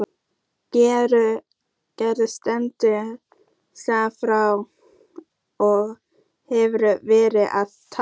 Gvendur stendur skammt frá og hefur verið að tala.